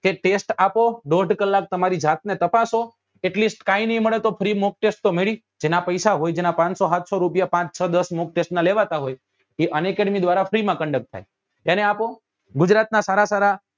કે test આપો દોડ કલાક તમારી જાત ને તપાસો at list કઈ નાઈ મળે તો free mock test તો મળે જેના પૈસા હોય જેના પાંચસો હાત્સો રૂપિયા પાંચ છ દસ mock test નાં લેવાતા હોય એ unacademy દ્વારા free માં conduct થાય એને આપો ગુજરાત નાં સારા સારા